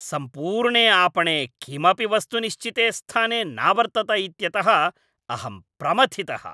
सम्पूर्णे आपणे किमपि वस्तु निश्चिते स्थाने नावर्तत इत्यतः अहं प्रमथितः।